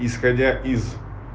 исходя из